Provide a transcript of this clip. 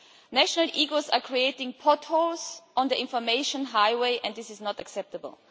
National egos are creating potholes on the information highway and this is not acceptable.